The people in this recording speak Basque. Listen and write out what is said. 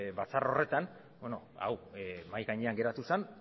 batzar horretan hau mahai gainean geratu zen